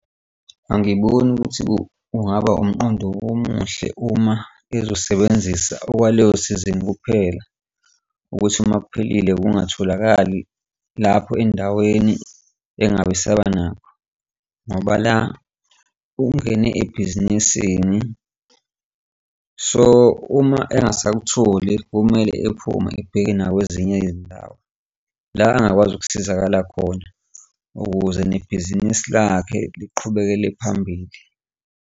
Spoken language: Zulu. Angiboni ukuthi kungaba umqondo omuhle uma ezosebenzisa okwaleyosizini kuphela ukuthi uma kuphelile kungatholakali lapho endaweni engabe saba nakho, ngoba la ungene ebhizinisini, so uma engasakutholi kumele ephume ebheke nakwezinye izindawo. La angakwazi ukusizakala khona ukuze nebhizinisi lakhe liqhubekele phambili.